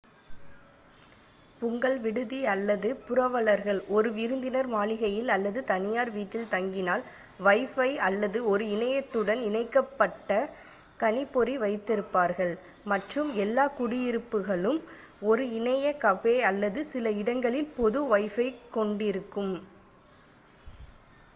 உங்கள் விடுதி அல்லது புரவலர்கள் ஒரு விருந்தினர் மாளிகையில் அல்லது தனியார் வீட்டில் தங்கினால் வைபை அல்லது ஒரு இணையத்துடன் இணைக்கப் பட்ட கணிப் பொறி வைத்திருப்பார்கள் மற்றும் எல்லா குடியிருப்புகளும் ஒரு இணைய கபே அல்லது சில இடங்களில் பொது வைபை கொண்டிருக்கும்